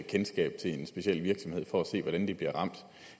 kendskab til en speciel virksomhed for at se hvordan den bliver ramt